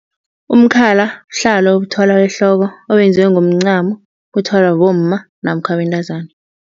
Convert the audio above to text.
Umkhala buhlalo obuthwalwa ehloko obenziwe ngomncamo. Buthwalwa bomma namkha bentazana.